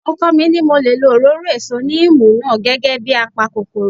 Ọkọ mi ní mo lè lo òróró èso níìmù náà gẹ́gẹ́ bíi a pa kòkòrò